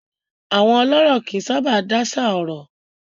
Àwọn ọlọ́rọ̀ kì í sábà dáṣà ọ̀rọ̀.